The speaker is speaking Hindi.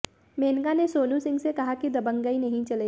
मेनका ने सोनू सिंह से कहा कि दबंगई नहीं चलेगी